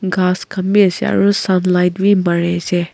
ghas khan bi ase aro sunlight bi mari ase.